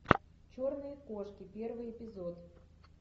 черные кошки первый эпизод